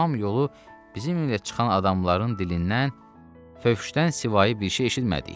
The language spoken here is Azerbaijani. Tamam yolu bizimlə çıxan adamların dilindən fövşdən sivayi bir şey eşitmədik.